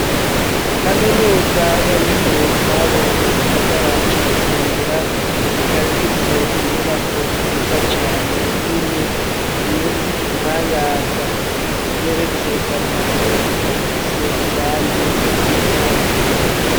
Kaminuza y'abikorero utwabo mu gisagara ca Bujumbura rikaba rifise inyubako nziza cane nini iyo y'igitangaza igeretse gatatu ikaba ifise irangi ry'igitare.